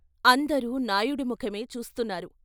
అందరూ నాయుడు ముఖమే చూస్తున్నారు.